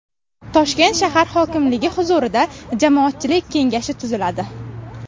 Toshkent shahar hokimligi huzurida jamoatchilik kengashi tuziladi.